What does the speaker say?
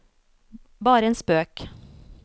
bare en spøk